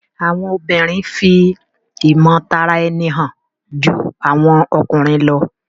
Àwọn obìrin fi imotaraeni hàn jù àwọn ọkùnrin ló